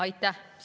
Aitäh!